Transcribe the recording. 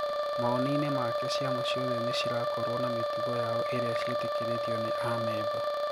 Maoni ine maake ciama ciothe nicirakorwo na mitugo yao iria ciitikiritwo ni aameba.